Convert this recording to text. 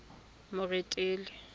moretele